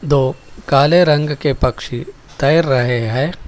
दो काले रंग के पक्षी तैर रहे है।